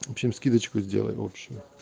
в общем скидочку сделаем общую